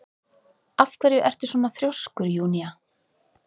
Af hverju ertu svona þrjóskur, Júnía?